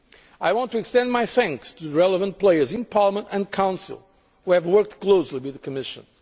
agree on a new Financial Regulation. I want to extend my thanks to the relevant players in Parliament and the Council who have